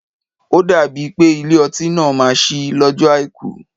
Ó dàbí pé Ilé-ọtí náà má ṣí lọjọ Àìkú.